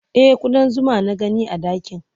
E, kuɗan zuma na gani a ɗakin.